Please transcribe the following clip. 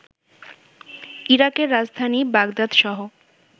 ইরাকের রাজধানী বাগদাদসহ